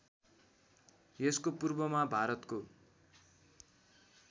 यसको पूर्वमा भारतको